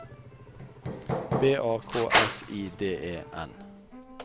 B A K S I D E N